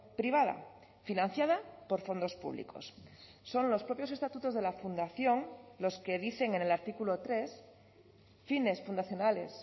privada financiada por fondos públicos son los propios estatutos de la fundación los que dicen en el artículo tres fines fundacionales